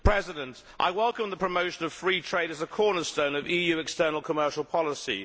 Mr President, I welcome the promotion of free trade as the cornerstone of EU external commercial policy.